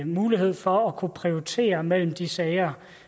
mulighed for at kunne prioritere mellem de sager